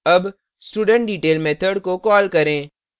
अब studentdetail method को call करें